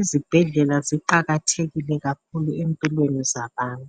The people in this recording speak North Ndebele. izibhedlela ziqakathekile kakhulu empilweni zabantu.